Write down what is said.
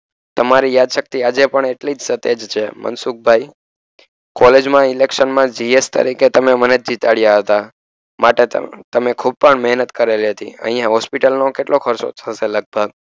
તમારી યાદશકતી આજે પણ સ્તેજ છે મનસુખભાઇ કોલેજમા election મા જી એફ તરીકે તમે મનેજ જીતાડયા માટે તમે ખુદ પણ મહેનત કરેલી હતી અહિયાં હોસ્પિટલનો કેટલો ખર્ચો થસે લગભગ